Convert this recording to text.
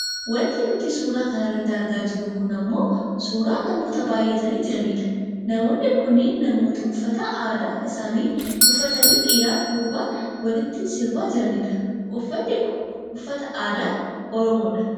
Wanti nuti suuraa kanarratti argaa jirru kun ammoo suuraa namoota baayyatanii jiranidha. Namoonni kunneen namoota uffata aadaa isaanii uffatanii dhiiraaf durbaan walitti sirbaa jiranidha. Uffanni kun uffata aadaa oromoo dha.